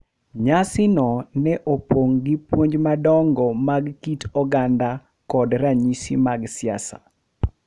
Nyasi no ne opong' gi puonj madongo mag kit oganda kod ranyisi mag siasa,